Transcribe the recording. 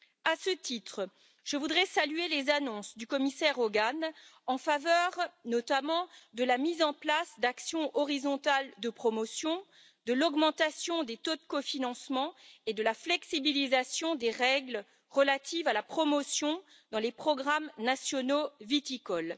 À ce titre, je voudrais saluer les annonces du commissaire Hogan en faveur, notamment, de la mise en place d'actions transversales de promotion, de l'augmentation des taux de cofinancement et de l'assouplissement des règles de promotion dans les programmes nationaux viticoles.